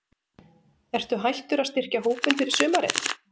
Ertu hættur að styrkja hópinn fyrir sumarið?